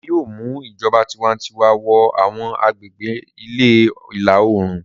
Wọn yóò mu ìjọba tiwantiwa wọ àwọn agbègbè ìlà-oòrùn.